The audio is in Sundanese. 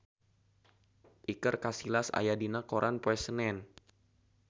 Iker Casillas aya dina koran poe Senen